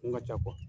Kun ka ca